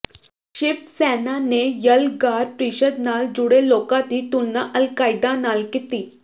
ਸ਼ਿਵ ਸੈਨਾ ਨੇ ਯਲਗਾਰ ਪ੍ਰੀਸ਼ਦ ਨਾਲ ਜੁੜੇ ਲੋਕਾਂ ਦੀ ਤੁਲਨਾ ਅਲਕਾਇਦਾ ਨਾਲ ਕੀਤੀ